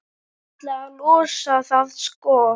Ætlaði að losa það, sko.